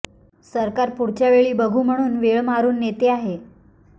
सरकार पुढच्या वेळी बघू म्हणून वेळ मारून नेते आहे